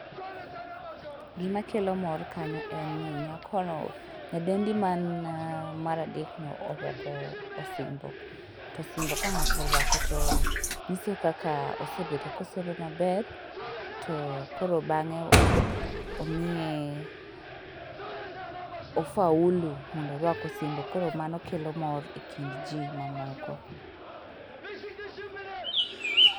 GIma kelo mor kanyo en ni nyako no, nyadendi man mar adek no, orwako osimbo. To osimbo ka ng'ato orwako to nyiso kaka, osebedo kosomo maber, to koro bang'e omiye o faulu mondo orwak osimbo. Koro mano kelo mor e kind jii mamoko.